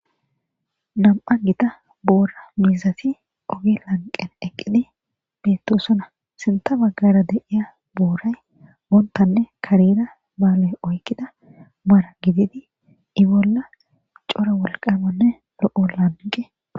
Nami'a gita bora mizati ogge laniqeni eqidi betosona sintha bageara deyiya borayi bottane kareta mara gididi i bolla coora woliqamane lo'o daniddi